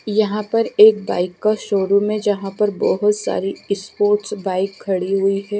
यहां पर एक बाइक का शोरूम है जहां पर बहोत सारी स्पोर्ट्स बाइक खड़ी हुई है।